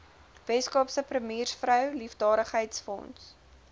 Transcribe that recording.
weskaapse premiersvrou liefdadigheidsfonds